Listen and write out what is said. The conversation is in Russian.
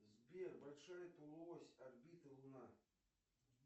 сбер большая полуось орбиты луна